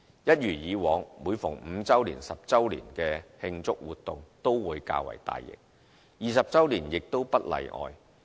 一如以往，每逢5周年、10周年的慶祝活動都會較為大型 ，20 周年亦不會例外。